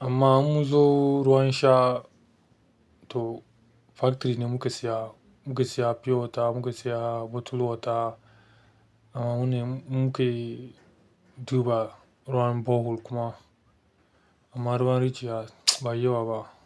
Amma mun zo ruwan sha to factory ne muke siya, muke siya pure water, muke siya bottled water. Amma mune mu kai duba ruwan borehole kuma. Amma ruwan rijiya ba yi yawa ba.